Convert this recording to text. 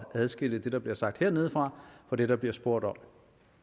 at adskille det der bliver sagt hernede fra fra det der bliver spurgt om